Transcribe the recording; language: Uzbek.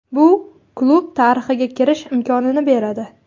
Bu klub tarixiga kirish imkonini beradi.